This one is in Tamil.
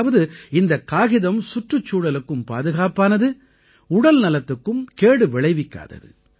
அதாவது இந்தக் காகிதம் சுற்றுச்சூழலுக்கும் பாதுகாப்பானது உடல்நலத்துக்கும் கேடு விளைவிக்காதது